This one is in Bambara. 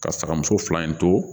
Ka saga muso fila in to